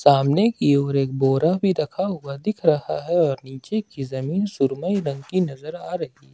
सामने की ओर एक बोरा भी रखा हुआ दिख रहा है और नीचे की जमीन सुरमई रंग की नजर आ रही है।